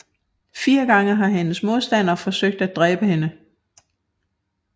Fire gange har hendes modstandere forsøgt at dræbe hende